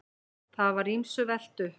Það var ýmsu velt upp.